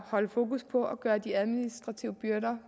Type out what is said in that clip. holde fokus på at gøre de administrative byrder